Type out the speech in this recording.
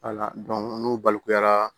n'u balikuyara